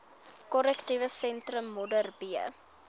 korrektiewe sentrum modderbee